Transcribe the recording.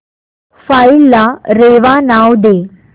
file ला रेवा नाव दे